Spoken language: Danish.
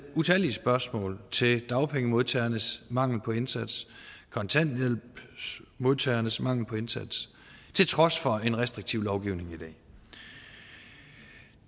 utallige spørgsmål til dagpengemodtagernes mangel på indsats kontanthjælpsmodtagernes mangel på indsats til trods for en restriktiv lovgivning i dag